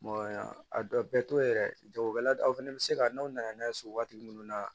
a dɔ bɛɛ to yɛrɛ jagokɛla o fɛnɛ bɛ se ka n'aw nana n'a ye so waati minnu na